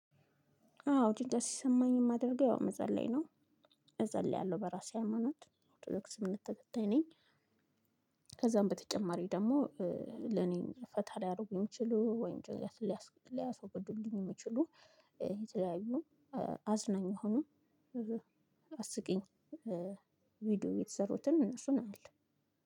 አዎ ጭንቀት ሲሰማኝ የማደርገው ያው መጸለይ ነው። እጸልያለሁ በራሴ ሃይማኖት ኦርቶዶክስ እምነት ተከታይ ነኝ። ከዛም በተጨማሪ ደግሞ እ ለኔ ፈታ ሊያደርጉኝ ሚችሉ ወይ ጭንቀትን ሊያስወግዱልኝ የሚችሉ የተለያዩ እ አዝናኝ ሆኖ እ አስቂኝ እ ቪዲዮ የተሰሩትን እነሱን አያለሁ።